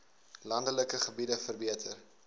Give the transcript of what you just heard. landelike gebiede verbeter